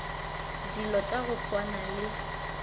dilo tša go swana le